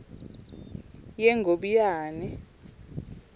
yengobiyane